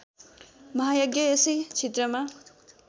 महायज्ञ यसै क्षेत्रमा